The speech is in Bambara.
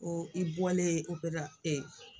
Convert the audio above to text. Ko i bɔlen [?